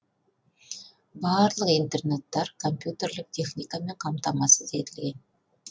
барлық интернаттар компьютерлік техникамен қамтамасыз етілген